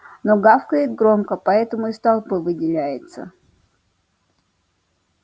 но гавкает громко поэтому из толпы выделяется